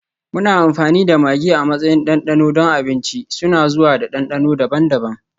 Muna amfani da maggi a matsayin ɗanɗano don abinci, suna zuwa da dandano daban-daban.